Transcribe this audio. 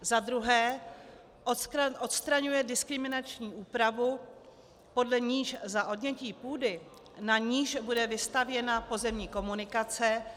Za druhé odstraňuje diskriminační úpravu, podle níž za odnětí půdy, na níž bude vystavěna pozemní komunikace -